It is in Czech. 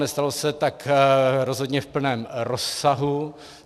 Nestalo se tak rozhodně v plném rozsahu.